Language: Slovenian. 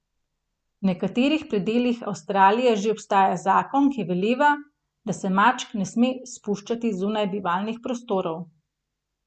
V nekaterih predelih Avstralije že obstaja zakon, ki veleva, da se mačk ne sme spuščati zunaj bivalnih prostorov.